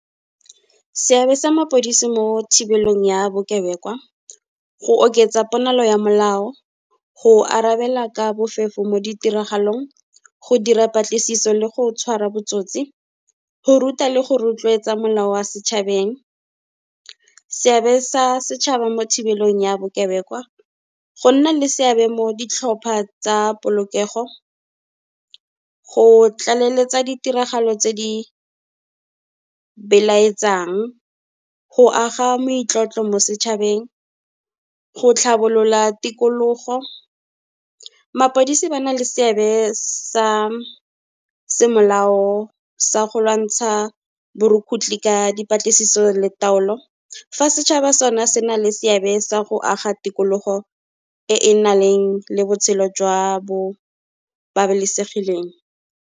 Seabe sa mapodisi mo thibelong ya bokebekwa, go oketsa ponagalo ya molao, go arabela ka bofefo mo ditiragalong, go dira patlisiso le go tshwara botsotsi, go ruta le go rotloetsa molao wa setšhabeng. Seabe sa setšhaba mo thibelong ya bokebekwa, go nna le seabe mo ditlhopha tsa polokego, go tlaleletsa ditiragalo tse di belaetsang, go aga moitlotlo mo setšhabeng, go tlhabolola tikologo. Mapodisa ba na le seabe sa semolao sa go lwantsha borukgutlhi ka dipatlisiso le taolo, fa setšhaba sone se na le seabe sa go aga tikologo e e nang le botshelo jwa bo babalesegileng.